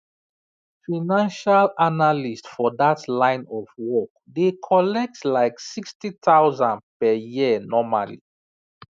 financial analyst for that line of work dey collect like 60000 per year normally